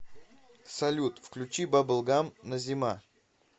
салют включи бабл гам назима